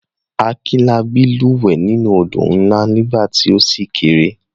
Akinlabí lúwẹ̀ẹ́ nínú àwọn odò ńlá nígbà tí ó ṣì kéré.